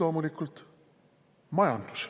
Loomulikult majandus.